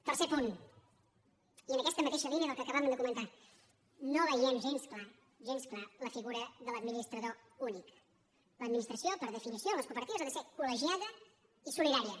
tercer punt i en aquesta mateixa línia del que acabàvem de comentar no veiem gens clara gens clara la figura de l’administrador únic l’administració per definició en les cooperatives ha de ser coldària